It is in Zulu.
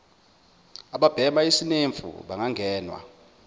ababhema isinemfu bangangenwa